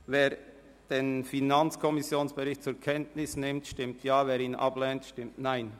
Wer den Bericht zur Kenntnis nimmt, stimmt Ja, wer diesen ablehnt, stimmt Nein.